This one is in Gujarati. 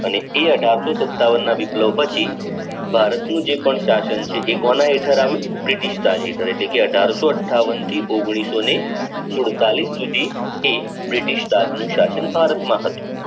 અને એ અઠારશો સત્તવાન ના વીપલવ પછી ભારતનું જે પણ શાસન છે એ કોના હેઠળ આવું બ્રિટિશ કાર્યકર એટલે કે અઠારશો અઠ્ઠાવન થી ઓગણીસો ને સુડતાલીઆ સુધી તે બ્રિટિશ રાજ નું શાસન ભારત માં હતું